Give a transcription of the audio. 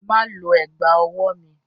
Má lo ẹ̀gbá-ọwọ́ mi!